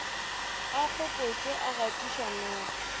a kgopetšwe a gatiša noga